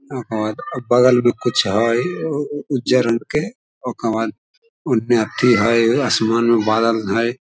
और बगल में कुछ हई उजर रंग के ओकर बाद ओय में अथी हई आसमान में बादल हई।